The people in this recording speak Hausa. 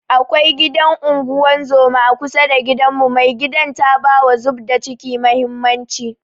Akwai gidan unguzuma a kusa da gidanmu, mai gidan ta bawa zubda kici mahimmanci